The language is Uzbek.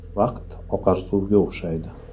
Vaqt oqar suvga o‘xshaydi.